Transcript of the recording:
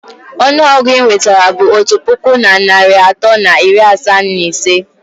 Ọnụ ọgụ inwetara bụ otu puku na narị atọ na iri asaa na ise.